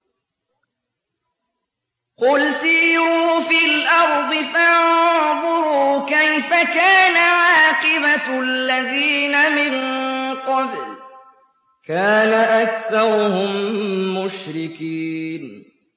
قُلْ سِيرُوا فِي الْأَرْضِ فَانظُرُوا كَيْفَ كَانَ عَاقِبَةُ الَّذِينَ مِن قَبْلُ ۚ كَانَ أَكْثَرُهُم مُّشْرِكِينَ